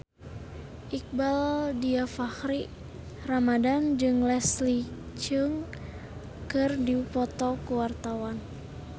Iqbaal Dhiafakhri Ramadhan jeung Leslie Cheung keur dipoto ku wartawan